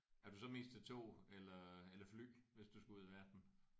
Er du så mest til tog eller eller fly hvis du skal ud i verden?